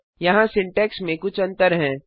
यहाँ सिंटैक्स में कुछ अंतर हैं